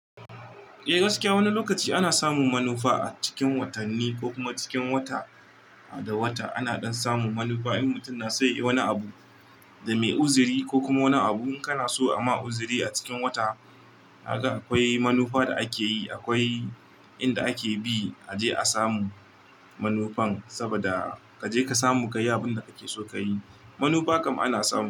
Eh gaskiya wani lokaci ana samun manufa cikin watanni ko kuma cikin wata da wata. Ana dan samun manufa in mutum na so ya yi wani abu da mai uzuri ko kuma wani abu in kana so a ma uzuri a cikin wata. Kaga akwai manufa da akeyi, akwai inda ake bi a je a samu manufan. Saboda ka je ka samu ka yi abin da a ke so ka yi. Manufa kam ana samu.